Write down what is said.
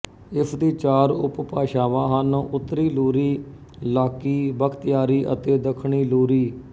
ਇਸਦੀ ਚਾਰ ਉਪਭਾਸ਼ਾਵਾਂ ਹਨ ਉੱਤਰੀ ਲੂਰੀ ਲਾਕੀ ਬਖਤਿਆਰੀ ਅਤੇ ਦੱਖਣੀ ਲੂਰੀ